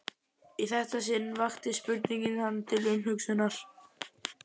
Í þetta sinn vakti spurningin hann til umhugsunar.